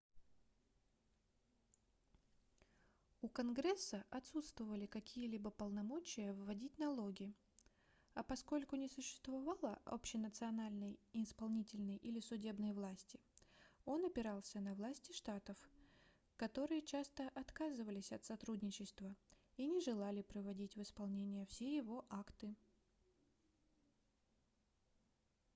у конгресса отсутствовали какие-либо полномочия вводить налоги а поскольку не существовало общенациональной исполнительной или судебной власти он опирался на власти штатов которые часто отказывались от сотрудничества и не желали приводить в исполнение все его акты